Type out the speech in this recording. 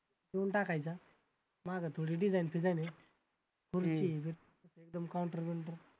मागं थोडी design आहे एकदम counter